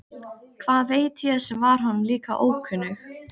Hvað veit ég sem var honum líka ókunnug.